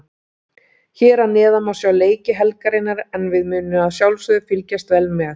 Hér að neðan má sjá leiki helgarinnar en við munum að sjálfsögðu fylgjast vel með.